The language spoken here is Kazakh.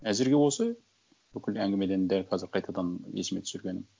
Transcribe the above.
әзірге осы бүкіл әңгімеден дәл қазір қайтадан есіме түсіргенім